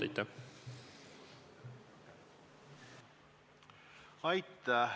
Aitäh!